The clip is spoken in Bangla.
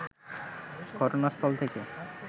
ঘটনাস্থল থেকে